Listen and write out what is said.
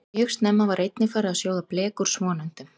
Mjög snemma var einnig farið að sjóða blek úr svonefndum